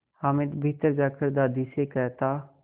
हामिद भीतर जाकर दादी से कहता